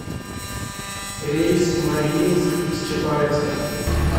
рейс в мариинск из чапаевска